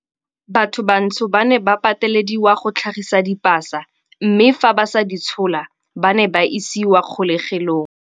Batho bantsho ba ne ba patelediwa go tlhagisa dipasa mme fa ba sa di tshola, ba ne ba isiwa kgolegelong.